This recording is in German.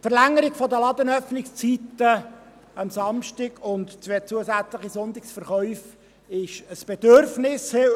Die Verlängerung der Ladenöffnungszeiten am Samstag und zwei zusätzliche Sonntagsverkäufe sind heute ein Bedürfnis.